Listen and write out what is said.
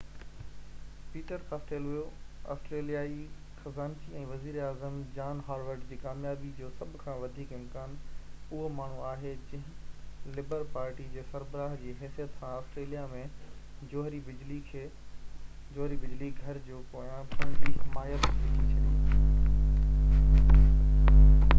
Peter Costello آسٽريليائي خزانچي ۽ وزير اعظم جان هاورڊ جي ڪاميابي جو سڀ کان وڌيڪ امڪان اهو ماڻهو آهي جنهن لبر پارٽي جي سربراه جي حيثيت سان آسٽريليا ۾ جوهري بجلي گهر جي پويان پنهنجي حمايت وجهي ڇڏي